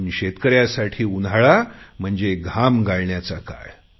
पण शेतकऱ्यांसाठी उन्हाळा म्हणजे घाम गाळण्याचा काळ